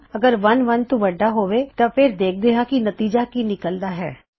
ਅਗਰ 1 1 ਤੋਂ ਵੱਢਾ ਹੋਵੇ ਤਾਂ ਫੇਰ ਦੇਖਦੇ ਹਾਂ ਕਿ ਨਤੀਜਾ ਕੀ ਨਿਕਲਦਾ ਹੈ